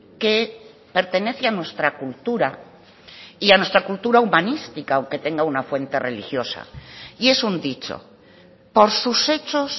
que pertenece a nuestra cultura y a nuestra cultura humanística aunque tenga una fuente religiosa y es un dicho por sus hechos